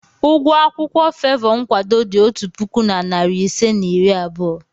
Ụgwọ akwụkwọ favour nkwado dị otu puku na narị ise na iri abụọ.